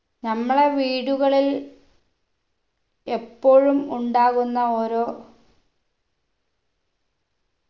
നമ്മളെ വീടുകളിൽ എപ്പോഴും ഉണ്ടാകുന്ന ഓരോ